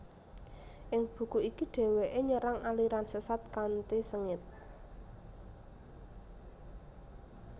Ing buku iki dheweke nyerang aliran sesat kanthi sengit